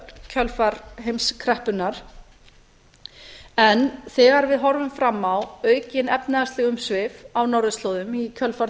kjölfar heimskreppunnar en þegar við horfum fram á aukin efnahagsleg umsvif á norðurslóðum í kjölfar